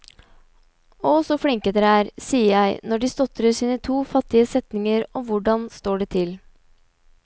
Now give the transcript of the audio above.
Å, så flinke dere er, sier jeg når de stotrer sine to fattige setninger om hvordan står det til.